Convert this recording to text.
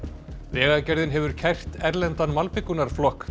vegagerðin hefur kært erlendan